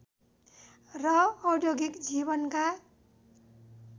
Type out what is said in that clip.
र औद्योगिक जीवनका